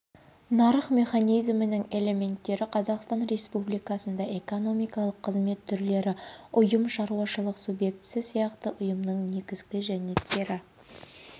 нарық механизмінің элементтері қазақстан республикасында экономикалық қызмет түрлері ұйым шаруашылық субъектісі сияқты ұйымның негізгі және кері